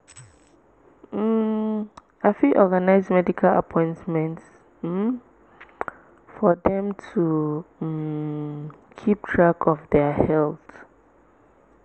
um i fit organize medical appointments um for dem to um keep track of their health.